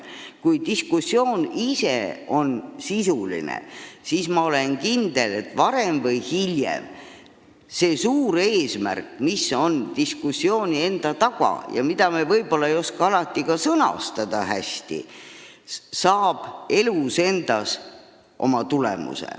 Kui diskussioon on sisuline, siis ma olen kindel, et varem või hiljem me saavutame elus endas selle suure eesmärgi, mis on diskussiooni taga ja mida me võib-olla alati ei oska hästi sõnastadagi.